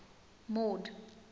mord